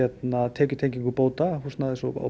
tekjutengingu bóta húsnæðis og